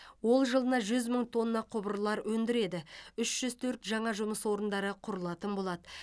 ол жылына жүз мың тонна құбырлар өндіреді үш жүз төрт жаңа жұмыс орындары құрылатын болады